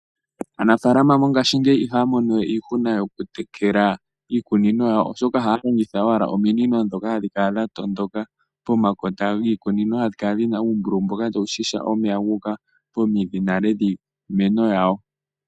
Aanafaalama mongaashingeyi ihaya mono weiihuna yokutekela iikunino yawo oshoka ohaya longitha owala ominino ndhoka hadhi kala dhatondoka pomakota giikunino hadhi kala dhina uumbululu mboka tawu shisha omeya ngoka guuka pomidhi nale dhiimeno yawo.